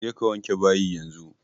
Je ka wanke bayi yanzu!